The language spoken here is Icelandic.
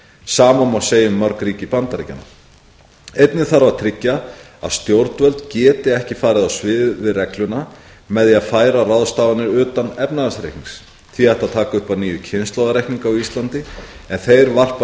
sama má segja um mörg ríki bandaríkjanna einnig þarf að tryggja að stjórnvöld geti ekki farið á svig við regluna með því að færa ráðstafanir utan efnahagsreiknings því ætti að taka upp að nýju kynslóðareikninga á íslandi en þeir varpa